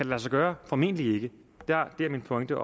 lade sig gøre formentlig ikke deraf min pointe